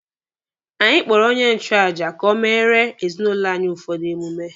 Anyị kpọrọ onye nchụaja ka o meere ezinụlọ anyị ụfọdụ emume.